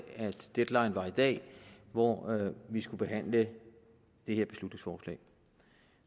deadline var i dag hvor vi skulle behandle det her beslutningsforslag